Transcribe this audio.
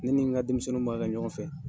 Ne ni n ka denmisɛnnin b'a kɛ ɲɔgɔn fɛ.